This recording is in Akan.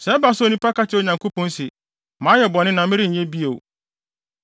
“Sɛ ɛba sɛ onipa ka kyerɛ Onyankopɔn se, ‘Mayɛ bɔne na merenyɛ bɔne bio.